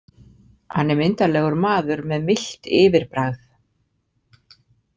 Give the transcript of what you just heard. Hann er myndarlegur maður með milt yfirbragð.